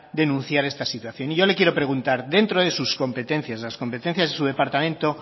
denunciar esta situación y yo le quiero preguntar dentro de sus competencias las competencias de su departamento